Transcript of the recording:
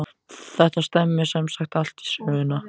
Þetta stemmir sem sagt allt við söguna.